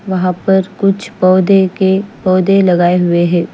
वहा पर कुछ पोधे के पोधे ल्ग्याये हुए है।